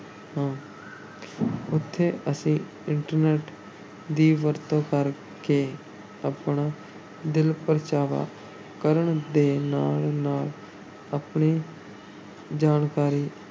ਉੱਥੇ ਅਸੀਂ internet ਦੀ ਵਰਤੋਂ ਕਰ ਕੇ ਆਪਣਾ ਦਿਲ-ਪਰਚਾਵਾ ਕਰਨ ਦੇ ਨਾਲ-ਨਾਲ ਆਪਣੀ ਜਾਣਕਾਰੀ